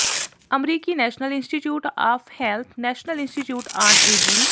ਅਮਰੀਕੀ National Institute of Health National Institute on ageing